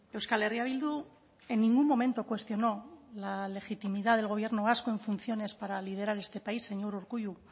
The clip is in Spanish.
euskal herria bildu en ningún momento cuestionó la legitimidad del gobierno vasco en funciones para liderar este país señor urkullu